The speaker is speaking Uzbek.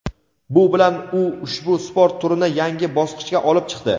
Bu bilan u ushbu sport turini yangi bosqichga olib chiqdi.